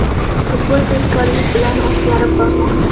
Futbol tezkorlik bilan o‘zgarib bormoqda.